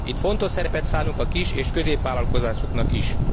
Itt fontos szerepet szánunk a kis és középvállalkozásoknak is.